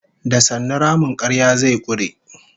Da sannu ramin karya zai kure